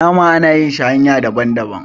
nama ana iya sarrag shi hanya daban - daban